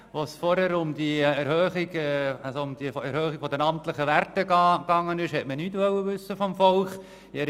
Als es vorhin um die Erhöhung der amtlichen Werte ging, wollte man nichts vom Volk wissen.